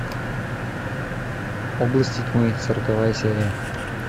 области тьмы сороковая серия